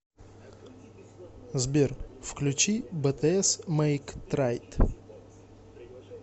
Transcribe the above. сбер включи бтс мэйк трайт